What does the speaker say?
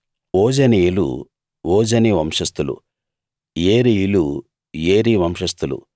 ఓజనీయులు ఓజని వంశస్థులు ఏరీయులు ఏరీ వంశస్థులు